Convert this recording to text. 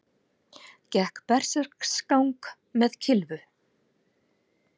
Gekk berserksgang með kylfu